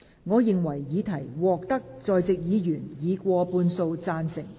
我認為議題獲得在席議員以過半數贊成。